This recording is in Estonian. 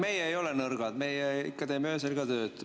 Meie ei ole nõrgad, meie ikka teeme öösel ka tööd.